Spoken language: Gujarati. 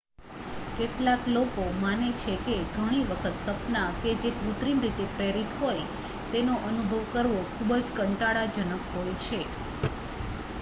કેટલાક લોકો માને છે કે ઘણી વખત સપના કે જે કૃત્રિમ રીતે પ્રેરિત હોય તેનો અનુભવ કરવો ખુબ જ કંટાળાજનક હોય છે